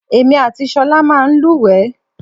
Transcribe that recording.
Èmi àti ṣọ̀lá máa ń lúwẹ̀ẹ́.